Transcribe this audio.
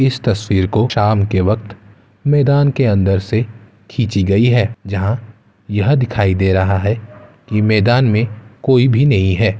इस तस्वीर को शाम के वक्त मैदान के अंदर से खींची गयी है जहाँ यह दिखाई दे रहा है कि मैदान में कोई भी नहीं है।